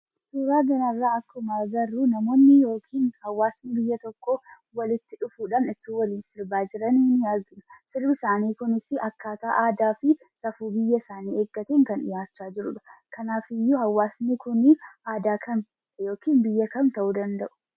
Suuraa kanarra akkuma agarru, namoonni yookiin haawasni biyya tokkoo walitti dhufuudhan utuu waliin sirba jiranii argina. Sirbi isaanii kunis akkaataa aadaa fi safuu biyya isaanii eeggate kan dhi'aacha jiraanidha. Kanaafiiyyuu haawasni kun, aadaa kam? yookiin biyya kam ta'u danda'u?